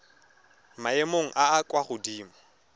maemong a a kwa godimo